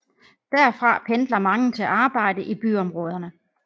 Derfra pendler mange til arbejde i byområderne